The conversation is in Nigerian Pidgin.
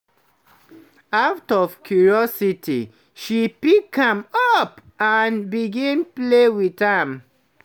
out of curiosity she pick am up, and begin play with am